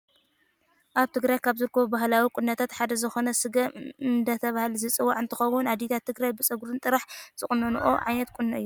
ኣብ ትግራይ ካብ ዝርከቡ ባህላዊ ቁኖታት ሓደ ዝኮነ ስገም እንዳተባሃለ ዝፅዋዕ እንትከውን ኣዴታት ትግራይ ብፀጉረን ጥራሕ ዝቁኖኖኦ ዓይነት ቁኖ እዮ።